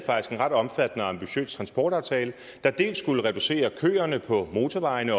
en ret omfattende og ambitiøs transportaftale der dels skulle reducere køerne på motorvejene